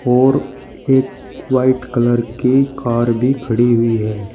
और एक white colour कि कार भी खड़ी है।